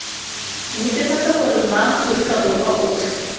netefatsa gore maaforika borwa otlhe